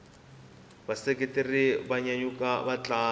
vaseketeri va nyanyula vatlangi